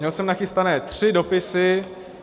Měl jsem nachystané tři dopisy.